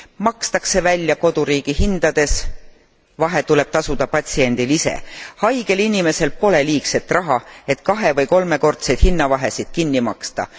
Makstakse välja koduriigi hindades, vahe tuleb tasuda patsiendil ise. Haigel inimesel pole liigset raha, et kahe või kolmekordseid hinnavahesid kinni maksta.